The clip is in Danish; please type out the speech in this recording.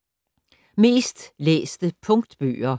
Mest læste Punktbøger